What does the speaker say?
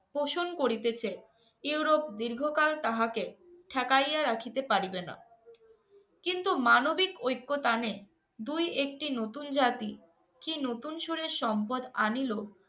পোষণ করিতেছে ইউরোপ দীর্ঘকাল তাহাকে ঠেকাইয়া রাখিতে পারিবে না। কিন্তু মানবিক ঐক্যতানে দুই-একটি নতুন জাতি কী নতুন সুরের সম্পদ আনিলো